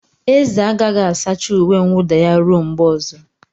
Eze agaghị asacha uwe mwuda ya ruo mgbe ọzọ.